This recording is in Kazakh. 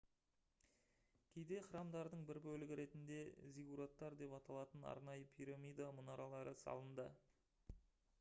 кейде храмдардың бір бөлігі ретінде зиггураттар деп аталатын арнайы пирамида мұнаралары салынды